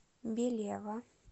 белева